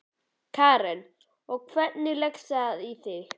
Karen: Og, hvernig leggst það í þig?